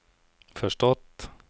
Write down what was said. förstått